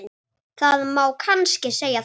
Það má kannski segja það.